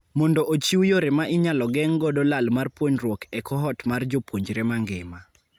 Mondo ochiw yore ma inyalo geng' godo lal mar puonruok e cohort mar jopuonre mangima.